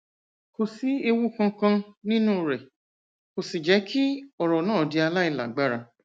kò sí ewu kankan nínú rẹ kò sì jẹ kí ọrá náà di aláìlágbára